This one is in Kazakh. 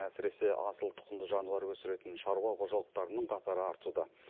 әсіресе асыл тұқымды жануар өсіретін шаруа қожалықтарының қатары артуда